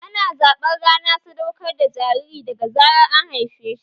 Ana zaɓar rana sadaukar da jariri daga zarar an haife shi